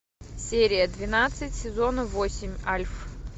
серия двенадцать сезона восемь альф